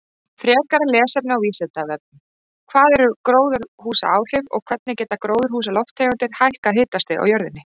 Frekara lesefni á Vísindavefnum: Hvað eru gróðurhúsaáhrif og hvernig geta gróðurhúsalofttegundir hækkað hitastig á jörðinni?